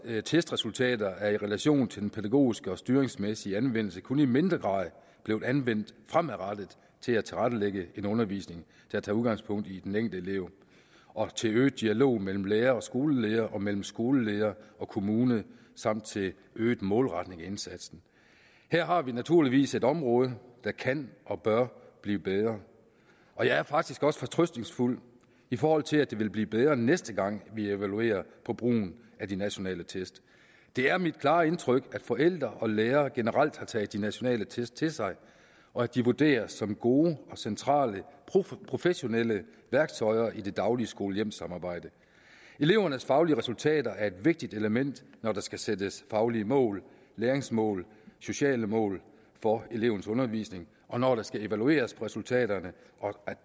testresultater er i relation til den pædagogiske og styringsmæssige anvendelse kun i mindre grad blevet anvendt fremadrettet til at tilrettelægge en undervisning der tager udgangspunkt i den enkelte elev og til øget dialog mellem lærere og skoleledere og mellem skoleledere og kommuner samt til en øget målretning af indsatsen her har vi naturligvis et område der kan og bør blive bedre og jeg er faktisk også fortrøstningsfuld i forhold til at det vil blive bedre næste gang vi evaluerer brugen af de nationale test det er mit klare indtryk at forældre og lærere generelt har taget de nationale test til sig og at de vurderes som gode og centrale professionelle værktøjer i det daglige skole hjem samarbejde elevernes faglige resultater er et vigtigt element når der skal sættes faglige mål læringsmål og sociale mål for elevens undervisning og når der skal evalueres på resultaterne og